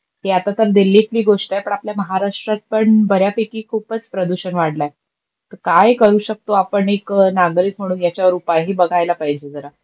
की आता तर दिल्लीतली गोष्ट आहे, पण आपल्या महाराष्ट्रात पण बऱ्यापैकी खूपच प्रदूषण वाढलंय. तर काय करू शकतो आपण एक नागरिक म्हणून याच्यावर उपाय हे बगायला पाहिजेल जरा.